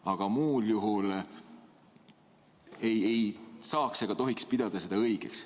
Aga muul juhul ei saaks ega tohiks pidada seda õigeks.